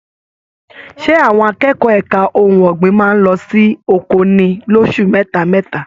Ṣe àwọn akẹ́kọ̀ọ́ ẹka ohùn ọgbin máa n lọ sí oko ní loṣù mẹta mẹta?